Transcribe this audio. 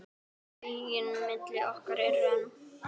Taugin milli okkar er römm.